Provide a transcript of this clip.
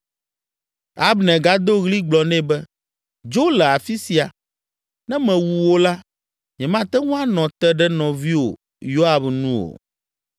Abner gado ɣli gblɔ nɛ be, “Dzo le afi sia. Ne mewu wò la, nyemate ŋu anɔ te ɖe nɔviwò Yoab nu o.”